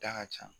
Da ka ca